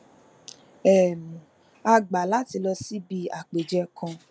um a gbà láti lọ síbi àpèjẹ kan